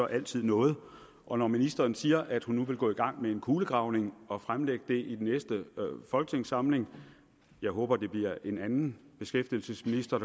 altid noget og når ministeren siger at hun nu vil gå i gang med en kulegravning og fremlægge det i næste folketingssamling jeg håber det bliver en anden beskæftigelsesminister